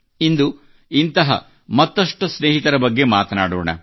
ಇಂದು ಇಂಥ ಮತ್ತಷ್ಟು ಸ್ನೇಹಿತರ ಬಗ್ಗೆ ಮಾತನಾಡೋಣ